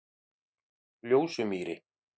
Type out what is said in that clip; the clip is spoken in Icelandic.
Ljósumýri